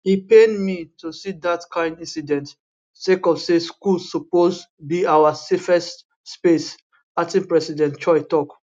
e pain me to see dat kain incidents sake of say school suppose be our safest space acting president choi tok